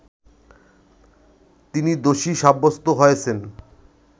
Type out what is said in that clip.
তিনি দোষী সাব্যস্ত হয়েছেন